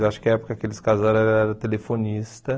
Acho que na época aqueles casais eram telefonistas.